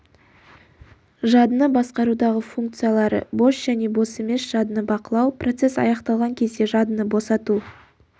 жадыны басқарудағы функциялары бос және бос емес жадыны бақылау процесс аяқталған кезде жадыны босату